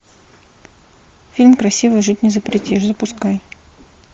фильм красиво жить не запретишь запускай